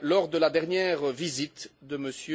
lors de la dernière visite de M.